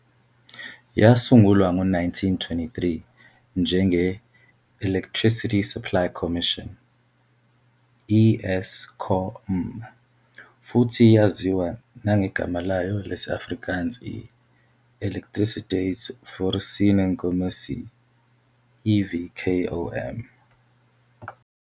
Yasungulwa ngo-1923 njenge-Electricity Supply Commission, i-ESCOM, futhi yaziwa nangegama layo lesi-Afrikaans i-Elektrisiteitsvoorsieningskommissie, EVKOM.